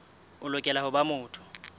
o lokela ho ba motho